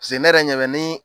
paseke ne yɛrɛ ɲɛbɛ nin